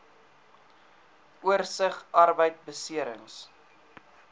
oorsig arbeidbeserings